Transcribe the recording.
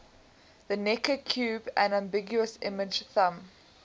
the necker cube an ambiguous image thumb